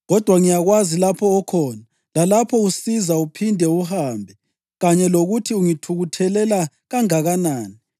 Kodwa ngiyakwazi lapho okhona, lalapho usiza uphinde uhambe; kanye lokuthi ungithukuthelela kangakanani.